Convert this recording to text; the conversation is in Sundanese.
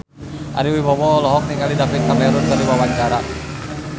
Ari Wibowo olohok ningali David Cameron keur diwawancara